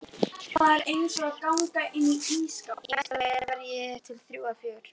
Í mesta lagi þrjú eða fjögur.